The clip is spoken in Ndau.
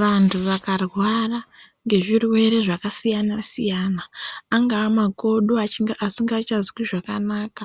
Vandu vakarwara ngezvirwere zvakasiyana-siyana, angaa makodo asingachanzwi zvakanaka.